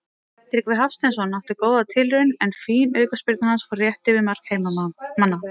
Tryggvi Hafsteinsson átti góða tilraun er fín aukaspyrna hans fór rétt yfir mark heimamanna.